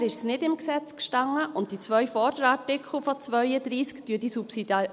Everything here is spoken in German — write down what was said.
Bisher stand es nicht im Gesetz und die beiden vorherigen Absätze von Artikel 32 verankern die Subsidiarität.